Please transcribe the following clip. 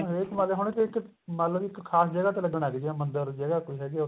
ਹਰੇਕ ਮਹੱਲੇ ਹੁਣ ਕਿ ਆ ਮੰਨਲੋ ਇੱਕ ਖਾਸ ਜਗ੍ਹਾ ਤੇ ਲੱਗਣ ਲਾਗੀ ਜਿਵੇਂ ਮੰਦਰ ਜਗ੍ਹਾ ਕੋਈ ਹੈਗੀ ਏ